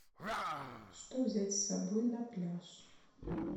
что взять с собой на пляж